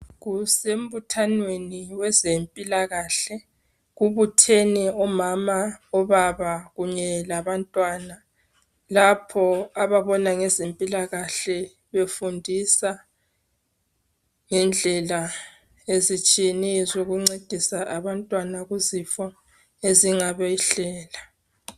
Kusembuthanweni wezempilakahle, kubuthene omama, obaba kunye labantwana lapho ababona ngezempilakahle befundisa ngendlela ezitshiyeneyo zokuncedisa abantwana kuzifo ezingabehlela